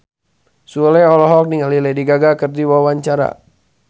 Sule olohok ningali Lady Gaga keur diwawancara